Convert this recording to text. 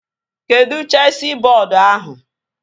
Kedụ chesị bọọdu ahụ?